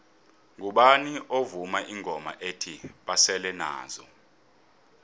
ngubani ovuma ingoma ethi basele nazo